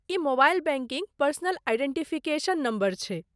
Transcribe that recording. ई mobile banking personal identification number छै।